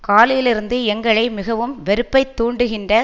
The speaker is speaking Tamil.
காலையிலிருந்து எங்களை மிகவும் வெறுப்பைத்தூண்டுகின்ற